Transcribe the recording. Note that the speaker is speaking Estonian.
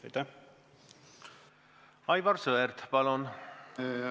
Aivar Sõerd, palun!